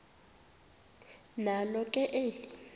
nalo ke eli